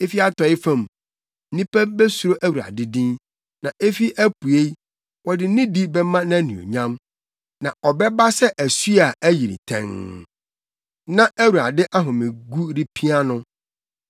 Efi atɔe fam, nnipa besuro Awurade din na efi apuei, wɔde nidi bɛma nʼanuonyam. Na ɔbɛba sɛ asu a ayiri tɛnn na Awurade ahomegu repia no.